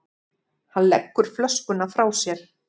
Hann leggur flöskuna frá sér.